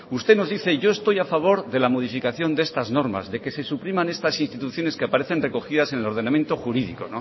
usted nos dice y yo estoy a favor de la modificación de estas normas de que se supriman estas instituciones que aparecen recogidas en el ordenamiento jurídico